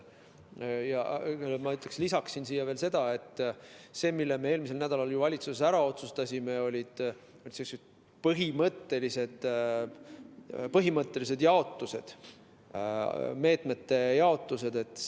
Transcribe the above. Ma lisaksin seda, et see, mille me eelmisel nädalal valitsuses ära otsustasime, oli põhimõtteline meetmete jaotus.